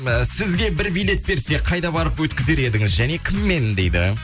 і сізге бір билет берсе қайда барып өткізер едіңіз және кіммен дейді